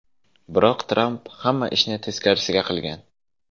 Biroq Tramp hamma ishni teskarisiga qilgan.